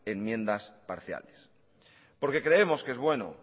enmiendas parciales porque creemos que es bueno